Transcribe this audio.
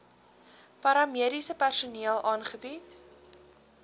paramediese personeel aangebied